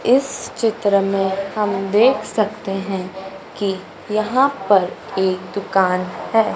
इस चित्र में हम देख सकते हैं कि यहां पर एक दुकान है।